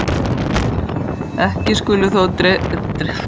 Ekki skulu þó dregnar of víðtækar ályktanir af þeirri lýsingu.